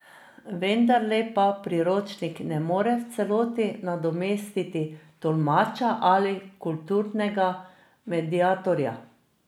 Vendarle pa priročnik ne more v celoti nadomestiti tolmača ali kulturnega mediatorja.